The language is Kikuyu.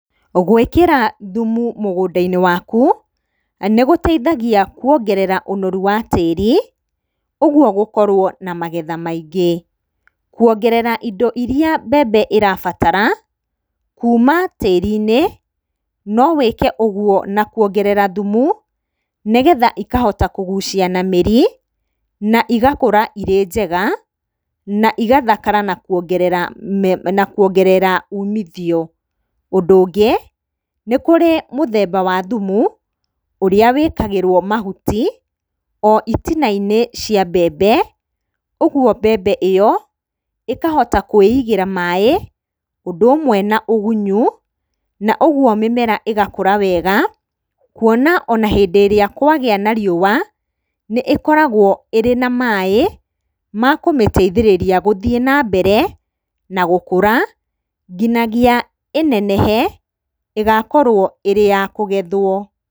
Gũĩkĩra thumu mũgũnda-inĩ waku, nĩgũteithagĩa kuongerera ũnoru wa tĩri, ũguo gũkorwo na magetha maingĩ. Kuongerera indo irĩa mbembe ĩrabatara, kuuma tĩri-inĩ, no wĩke ũguo na kũongerera thumu, nĩgetha ikahota kũgucia na mĩri, na igakũra irĩ njega, na igathakara kuongerera, na kuongerera umithio. Ũndũ ũngĩ, nĩ kũrĩ mũthemba wa thumu, ũrĩa wĩkagĩrwo mahuti o itina-inĩ cia mbembe, ũguo mbembe ĩyo, ĩkahota kũĩigĩra maaĩ, ũndũ ũmwe na ũgunyu, na ũguo mĩmera ĩgakura wega, kuona ona hĩndĩ ĩrĩa kwagĩa na riũa, nĩ ĩkoragwo ĩrĩ na maaĩ makũmĩteithĩrĩria gũthiĩ na mbere na gũkũra nginyagia ĩnenehe, ĩgakorwo ĩrĩ ya kũgethwo.